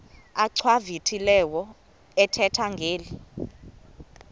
achwavitilevo ethetha ngeli